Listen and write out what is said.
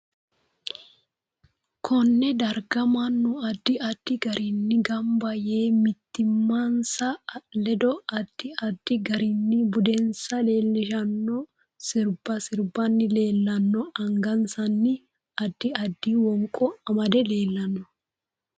Konne darga mannu addi addi gariini ganba yee mimitinsa ledo addi addi garinni budensa leelishanno sirbba sirbanni leelanno angasanni addi addi wonqo amade leelanno